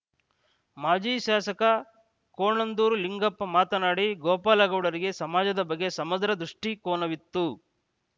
ಮಾಜಿ ಶಾಸಕ ಕೋಣಂದೂರು ಲಿಂಗಪ್ಪ ಮಾತನಾಡಿ ಗೋಪಾಲಗೌಡರಿಗೆ ಸಮಾಜದ ಬಗ್ಗೆ ಸಮಗ್ರ ದ್ರಿಷ್ಟಿಕೋನವಿತ್ತು